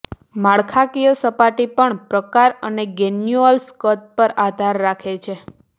માળખાકીય સપાટી પણ પ્રકાર અને ગ્રેન્યુલ્સ કદ પર આધાર રાખે છે